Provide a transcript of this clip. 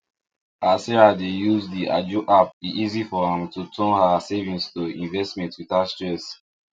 as sarah dey use d ajo app e easy for am to turn her savings to investment without stress